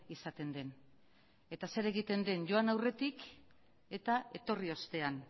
izaten den eta zer egiten den joan aurretik eta etorri ostean